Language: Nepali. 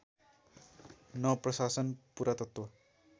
न प्रशासन पुरातत्त्व